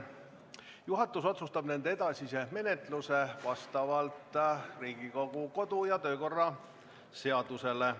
Juhatus otsustab nende edasise menetluse vastavalt Riigikogu kodu- ja töökorra seadusele.